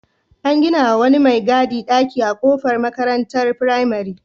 An gina wa wani mai gadi ɗaki a kofar makarantar firamare.